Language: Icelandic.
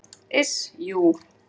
Iss, jú.